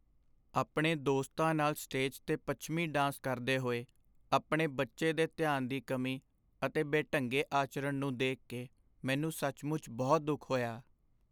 ਆਪਣੇ ਦੋਸਤਾਂ ਨਾਲ ਸਟੇਜ 'ਤੇ ਪੱਛਮੀ ਡਾਂਸ ਕਰਦੇ ਹੋਏ ਆਪਣੇ ਬੱਚੇ ਦੇ ਧਿਆਨ ਦੀ ਕਮੀ ਅਤੇ ਬੇਢੰਗੇ ਆਚਰਣ ਨੂੰ ਦੇਖ ਕੇ ਮੈਨੂੰ ਸੱਚਮੁੱਚ ਬਹੁਤ ਦੁੱਖ ਹੋਇਆ।